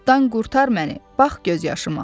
Oddan qurtar məni, bax göz yaşıma.